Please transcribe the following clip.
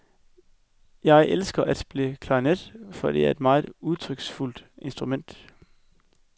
Jeg elsker at spille klarinet, for det er et meget udtryksfuldt instrument.